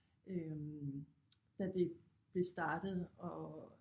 Øh da det det startede og